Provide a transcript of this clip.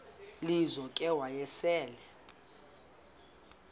lizo ke wayesel